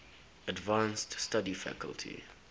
advanced study faculty